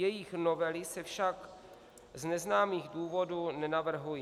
Jejich novely se však z neznámých důvodů nenavrhují.